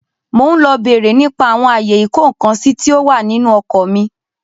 Mo ń lọ bere nípa àwọn ayé ìkó-ǹkan-sí tí ó wà nínú ọkọ̀ mi.